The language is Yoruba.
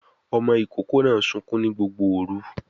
Ọmọ ìkókó náà sunkún ní Gbogbo òru